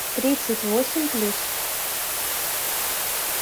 тридцать восемь плюс